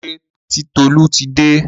Ṣé Titolú ti dé?